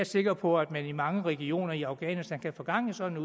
sikker på at man i mange regioner i afghanistan kan få gang i sådan